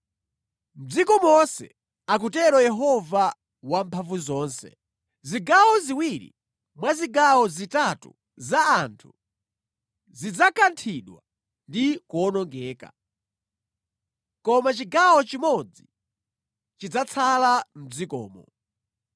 Mʼdziko monse, akutero Yehova Wamphamvuzonse, “zigawo ziwiri mwa zigawo zitatu za anthu zidzakanthidwa ndi kuwonongeka; koma chigawo chimodzi chidzatsala mʼdzikomo.